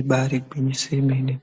Ibari gwinyiso yomene